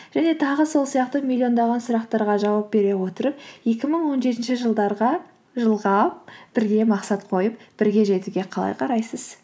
және тағы сол сияқты миллиондаған сұрақтарға жауап бере отырып екі мың он жетінші жылға бірге мақсат қойып бірге жетуге қалай қарайсыз